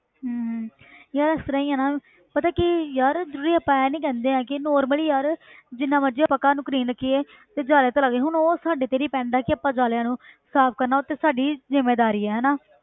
ਹਮ ਯਾਰ ਇਸ ਤਰ੍ਹਾਂ ਹੀ ਆ ਨਾ ਪਤਾ ਕੀ ਯਾਰ ਜਿਹੜੀ ਆਪਾਂ ਇਹ ਨੀ ਕਹਿੰਦੇ ਹੈ ਕਿ normally ਯਾਰ ਜਿੰਨਾ ਮਰਜ਼ੀ ਆਪਾਂ ਘਰ ਨੂੰ clean ਰੱਖੀਏ ਤੇ ਜਾਲੇ ਤੇ ਲੱਗ, ਹੁਣ ਉਹ ਸਾਡੇ ਤੇ depend ਆ ਕਿ ਆਪਾਂ ਜਾਲਿਆਂ ਨੂੰ ਸਾਫ਼ ਕਰਨਾ ਉਹ ਤੇ ਸਾਡੀ ਜ਼ਿੰਮੇਦਾਰੀ ਹੈ ਨਾ